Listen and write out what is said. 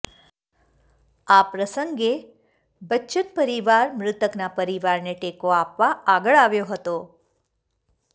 આ પ્રસંગે બચ્ચન પરિવાર મૃતકના પરિવારને ટેકો આપવા આગળ આવ્યો હતો